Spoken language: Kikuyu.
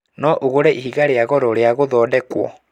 No ũgũre ihiga rĩa goro rĩa gũthondekwo.